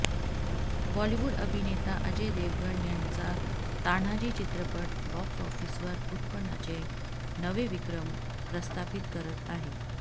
बॉलिवूड अभिनेता अजय देवगण याचा तान्हाजी चित्रपट बॉक्स ऑफिसवर उत्पन्नाचे नवे विक्रम प्रस्थापित करत आहे